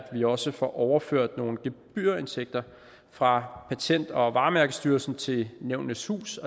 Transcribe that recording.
vi også får overført nogle gebyrindtægter fra patent og varemærkestyrelsen til nævnenes hus